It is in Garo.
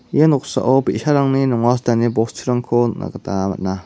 ia noksao bi·sarangni nonga sitani bosturangko nikna gita man·a.